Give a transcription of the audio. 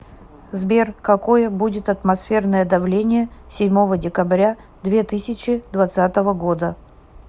сбер какое будет атмосферное давление седьмого декабря две тысячи двадцатого года